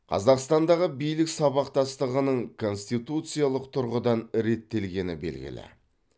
қазақстандағы билік сабақтастығының конституциялық тұрғыдан реттелгені белгілі